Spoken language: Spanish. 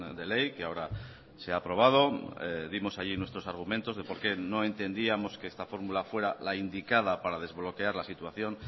de ley que ahora se ha aprobado dimos allí nuestros argumentos de por qué no entendíamos que esta fórmula fuera la indicada para desbloquear la situación